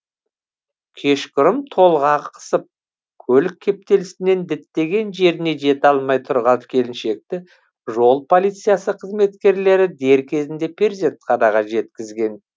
кешқұрым толғағы қысып көлік кептелісінен діттеген жеріне жете алмай тұрған келіншекті жол полициясы қызметкерлері дер кезінде перзентханаға жеткізген